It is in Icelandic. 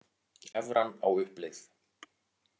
Evran á uppleið